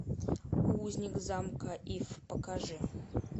узник замка иф покажи